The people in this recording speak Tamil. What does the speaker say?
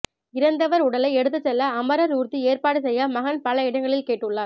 இறந்தவர் உடலை எடுத்துச் செல்ல அமரர் ஊர்தி ஏற்பாடு செய்ய மகன் பல இடங்களில் கேட்டுள்ளார்